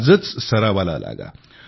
आजच सरावाला लागा